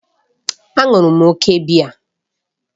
A ṅụrụ m òkè biya.